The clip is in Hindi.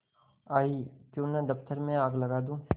आयीक्यों न दफ्तर में आग लगा दूँ